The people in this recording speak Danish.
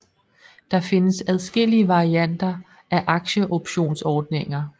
Der findes adskillige varianter af aktieoptionsordninger